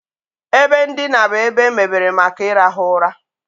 Ebe ndina bụ ebe emebere maka ịrahụ ụra.